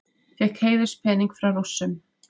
Fékk heiðurspening frá Rússum